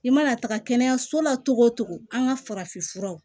I mana taga kɛnɛyaso la togo o cogo an ka farafin furaw